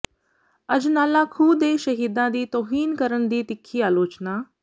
ਅਜਨਾਲਾ ਖੂਹ ਦੇ ਸ਼ਹੀਦਾਂ ਦੀ ਤੌਹੀਨ ਕਰਨ ਦੀ ਤਿੱਖੀ ਆਲੋਚਨਾ